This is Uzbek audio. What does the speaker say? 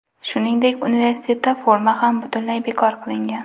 Shuningdek, universitetda forma ham butunlay bekor qilingan.